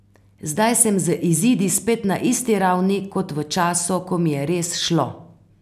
Zdaj sem z izidi spet na tisti ravni, kot v času, ko mi je res šlo.